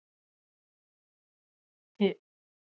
Hefurðu hitt hópinn eitthvað?